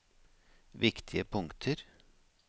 viktige punkter